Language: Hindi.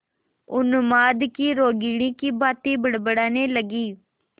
उन्माद की रोगिणी की भांति बड़बड़ाने लगी